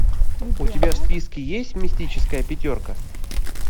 у тебя в списке есть мистическая пятерка